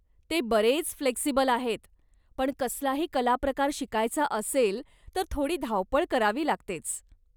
ते बरेच फ्लेक्सिबल आहेत, पण कसलाही कलाप्रकार शिकायचा असेल तर थोडी धावपळ करावी लागतेच.